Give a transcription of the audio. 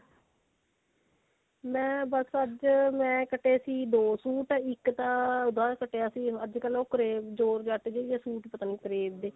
ਮੈਂ ਬੱਸ ਅੱਜ ਮੈਂ ਕੱਟੇ ਸੀ ਦੋ ਸੁਟ ਇੱਕ ਤਾਂ ਉਹਦਾ ਕੱਟਿਆ ਸੀ ਅੱਜ ਕਲ ਉਹ crave Johor jet ਪਤਾ ਨੀ crave ਦੇ